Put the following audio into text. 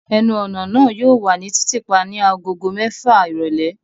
Ẹnu-ọna naa yóò wa ni titiipa ni agogo mẹfa irọlẹ